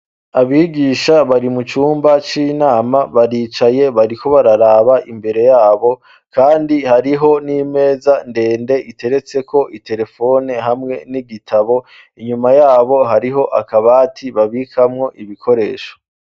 Abigisha bari mu cumba c'inama baricaye bariko bararaba imbere yabo, kandi hariho n'imeza ndende iteretseko iterefone hamwe n'igitabo inyuma yabo hariho akabati babikamwo ibikoresha.